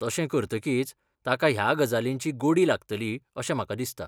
तशें करतकीच, ताका ह्या गजालींची गोडी लागतली अशें म्हाका दिसता.